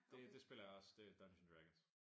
Det det spiller jeg også det Dungeons and Dragons